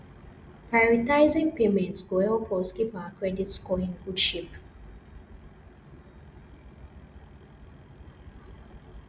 prioritizing payments go help us keep our credit score in good shape